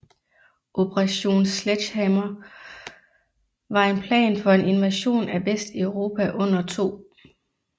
Operation Sledgehammer var en plan for en invasion af Vesteuropa under 2